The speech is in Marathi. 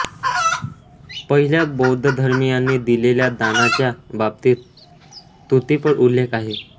पहिल्यात बौद्ध धर्मीयांनी दिलेल्या दानाच्या बाबतीत स्तुतिपर उल्लेख आहे